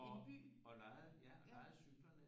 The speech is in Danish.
Og lejede ja lejede cyklerne